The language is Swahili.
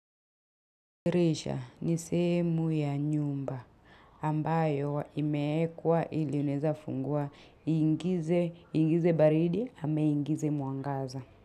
Dirisha ni sehemu ya nyumba ambayo imeekwa ili unaeza fungua iingize baridi ama iingize mwangaza.